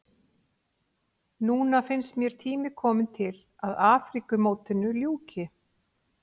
Núna finnst mér tími kominn til að Afríkumótinu ljúki.